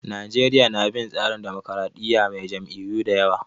Najeriya na bin tsarin dimokuradiyya mai jam'iyyu da yawa.